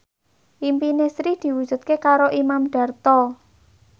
impine Sri diwujudke karo Imam Darto